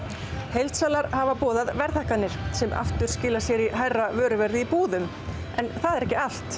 heildsalar hafa boðað verðhækkanir sem skilar sér í hærra vöruverði í búðum en það er ekki allt